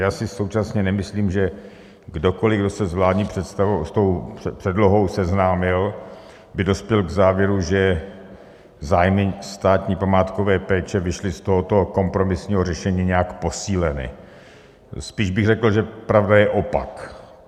Já si současně nemyslím, že kdokoliv, kdo se s vládní předlohou seznámil, by dospěl k závěru, že zájmy státní památkové péče vyšly z tohoto kompromisního řešení nějak posíleny, spíš bych řekl, že pravda je opak.